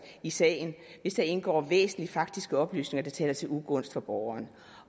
i sagen hvis der indgår væsentlige faktiske oplysninger der taler til ugunst for borgeren